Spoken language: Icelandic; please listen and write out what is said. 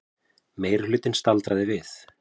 Meirihlutinn staldri við